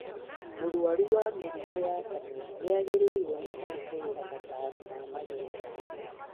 Mũrwaru wa mĩrimũ ya kanua nĩagĩrĩirwo nĩ kũrũmĩrĩra motaro ma magego